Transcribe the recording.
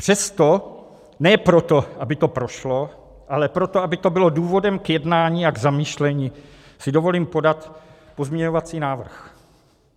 Přesto, ne proto, aby to prošlo, ale proto, aby to bylo důvodem k jednání a k zamýšlení, si dovolím podat pozměňovací návrh.